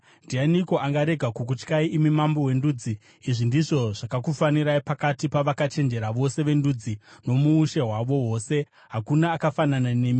Ndianiko angarega kukutyai, imi Mambo wendudzi? Izvi ndizvo zvakakufanirai. Pakati pavakachenjera vose vendudzi nomuushe hwavo hwose, hakuna akafanana nemi.